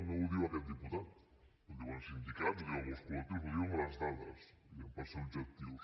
no ho diu aquest diputat ho diuen sindicats ho diuen molts col·lectius ho diuen les dades diguem ne per ser objectius